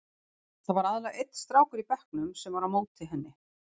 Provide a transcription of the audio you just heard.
Það var aðallega einn strákur í bekknum sem var á móti henni.